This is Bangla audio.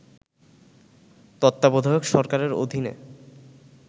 তত্বাবধায়ক সরকারের অধীনে